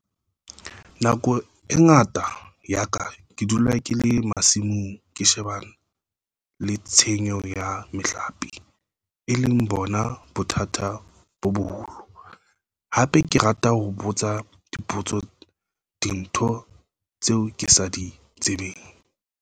Nako e ngata ya ka ke dula ke le masimong ke shebana le tshenyo ya mahlape, e leng bona bothata bo boholo. Hape ke rata ho botsa dipotso dinthong tseo ke sa di tsebeng.